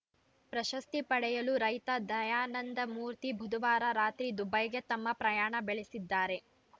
ಪ್ರಶಸ್ತಿ ಪಡೆಯಲು ರೈತ ದಯಾನಂದಮೂರ್ತಿ ಬುಧವಾರ ರಾತ್ರಿ ದುಬೈಗೆ ತಮ್ಮ ಪ್ರಯಾಣ ಬೆಳೆಸಿದ್ದಾರೆ